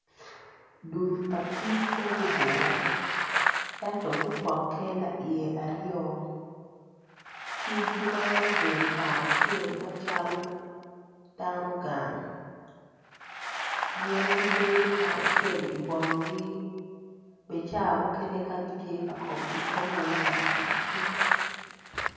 Dul pa kic ma gugure ento gupoke laiye aryo kic gimaro bedo kacel macalo dano gang gin gibedo kacel i bongi bene ca mukene ka gitye ka kobo gikobo weng lakaracel